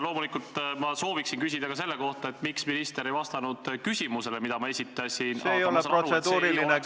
Loomulikult sooviksin ma küsida ka selle kohta, miks minister ei vastanud küsimusele, mille ma esitasin, aga ma saan aru, et see ei ole protseduuriline küsimus.